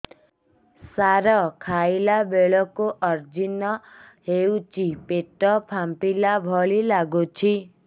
ସାର ଖାଇଲା ବେଳକୁ ଅଜିର୍ଣ ହେଉଛି ପେଟ ଫାମ୍ପିଲା ଭଳି ଲଗୁଛି